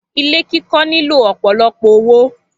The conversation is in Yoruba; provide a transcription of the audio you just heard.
Ilé kikọ́ nílò ọ̀pọ̀lọpọ̀ owó